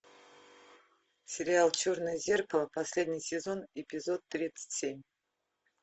сериал черное зеркало последний сезон эпизод тридцать семь